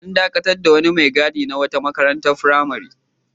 An dakatar da wani mai gadi na wata makarantar firamare.